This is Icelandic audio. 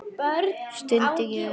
stundi ég upp.